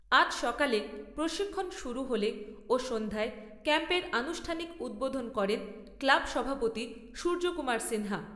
আজ সকালে প্রশিক্ষন শুরু হলে সন্ধ্যায় ক্যাম্পের আনুষ্ঠানিক উদ্ভোধন করেন ক্লাব সভাপতি সূর্য কুমার সিনহা।